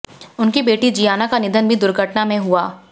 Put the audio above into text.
उनकी बेटी जियाना का निधन भी दुर्घटना में हुआ